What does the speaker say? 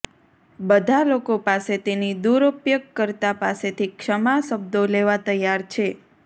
બધા લોકો પાસે તેની દુરુપયોગકર્તા પાસેથી ક્ષમા શબ્દો લેવા તૈયાર છે